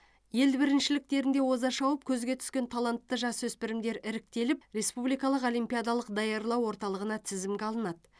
ел біріншіліктерінде оза шауып көзге түскен талантты жасөспірімдер іріктеліп республикалық олимпиадалық даярлау орталығына тізімге алынады